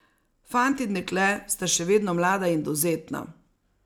Fant in dekle sta še vedno mlada in dovzetna.